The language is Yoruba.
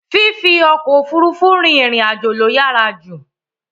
Fífi ọkọ̀ Òfurufú rin ìrìn àjò ló yàrá jù